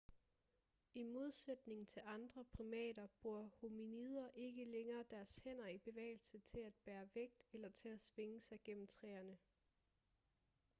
i modsætning til andre primater bruger hominider ikke længere deres hænder i bevægelse til at bære vægt eller til at svinge sig gennem træerne